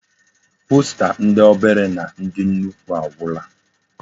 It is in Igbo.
Posta ndi obere na ndi nnukwu agwula.